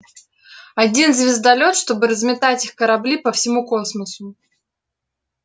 один звездолёт чтобы разметать их корабли по всему космосу